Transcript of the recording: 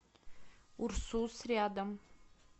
урсус рядом